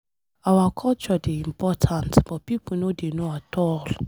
Our culture dey important but people no dey know at all.